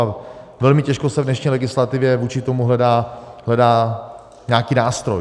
A velmi těžko se v dnešní legislativě vůči tomu hledá nějaký nástroj.